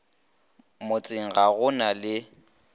motseng ga go na le